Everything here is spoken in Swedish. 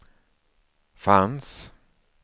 fanns